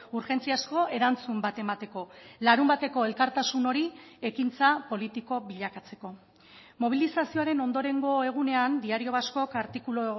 urgentziazko erantzun bat emateko larunbateko elkartasun hori ekintza politiko bilakatzeko mobilizazioaren ondorengo egunean diario vascok artikulu